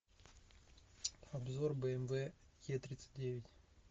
обзор бмв е тридцать девять